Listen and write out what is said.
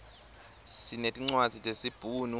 sinetincwadzi tesibhunu